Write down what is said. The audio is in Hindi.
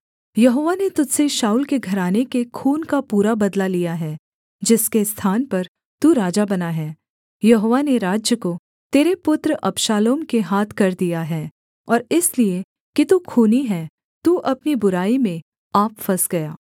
यहोवा ने तुझ से शाऊल के घराने के खून का पूरा बदला लिया है जिसके स्थान पर तू राजा बना है यहोवा ने राज्य को तेरे पुत्र अबशालोम के हाथ कर दिया है और इसलिए कि तू खूनी है तू अपनी बुराई में आप फँस गया